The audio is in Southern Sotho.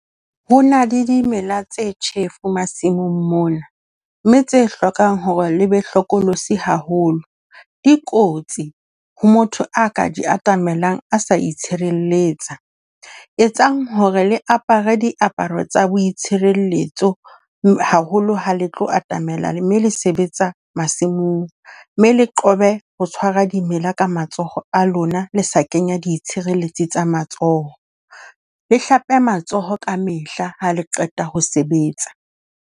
Ho na le dimela tse tjhefu masimong mona, mme tse hlokang hore le be hlokolosi haholo. Dikotsi ho motho a ka di atamelang a sa itshireletsa, etsang hore le apara diaparo tsa boitshireletso haholo ha le tlo atamela, mme le sebetsa masimong, mme le qobe ho tshwara dimela ka matsoho a lona le sa kenya ditshireletsi tsa matsoho. Le hlape matsoho ka mehla ha le qeta ho sebetsa.